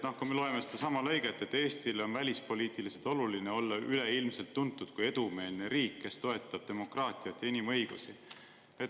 Loen sellestsamast lõikest, et Eestile on välispoliitiliselt oluline olla üleilmselt tuntud kui edumeelne riik, kes toetab demokraatiat ja inimõigusi.